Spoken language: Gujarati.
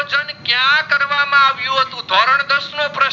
પ્રશ્નો પર